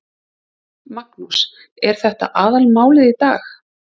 Magnús: Er þetta aðalmálið í dag?